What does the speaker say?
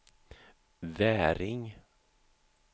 Väring